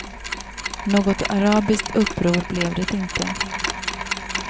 Något arabiskt uppror blev det inte.